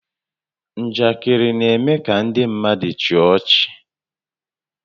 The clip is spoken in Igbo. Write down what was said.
Njakịrị na-eme kà ndị mmadụ chịa ọchị